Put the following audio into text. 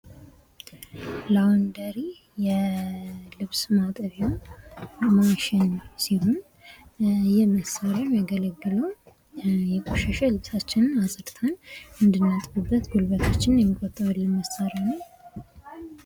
ላውንደሪ የልብስ ማጠቢያ ማሽን ሲሆን ይህ መሳሪያ የሚያገለግለው የቆሸሸ ልብሳችንን አፅድተን አንዲናጥብበት ጉልበታችንን የሚቆጥብልን መሳሪያ ነው